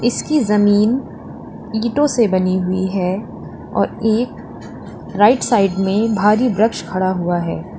इसकी जमीन ईटों से बनी हुई है और एक राइट साइड में भारी वृक्ष खड़ा हुआ है।